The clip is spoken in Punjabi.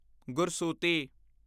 ਗੁਰਸੂਤੀ